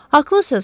Haqlısız.